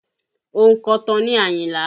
Ònkọ̀tan ni Ayinla